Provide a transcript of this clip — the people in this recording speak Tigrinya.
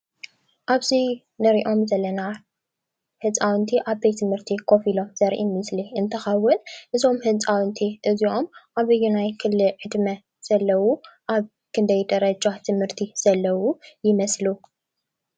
ኣብ እዚ ንሪኦም ዘለና ህፃውንት ኣብ ቤት ትምህርቲ ኮፍ ኢሎም ዘርኢ ምስሊ እንትኸውን እዞም ህፃውንቲ እዚኦም ኣብየናይ ክሊ ዕድመ ዘለው ኣብ ክንደይ ደረጃ ትምህርቲ ዘለው ይመስሉ?